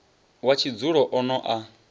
wa tshidzulo o no a